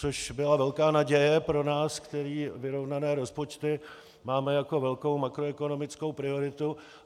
Což byla velká naděje pro nás, kteří vyrovnané rozpočty máme jako velkou makroekonomickou prioritu.